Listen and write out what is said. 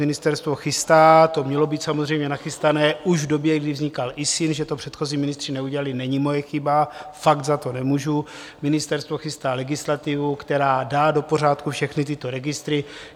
Ministerstvo chystá - to mělo být samozřejmě nachystané už v době, kdy vznikal ISIN, že to předchozí ministři neudělali, není moje chyba, fakt za to nemůžu - ministerstvo chystá legislativu, která dá do pořádku všechny tyto registry.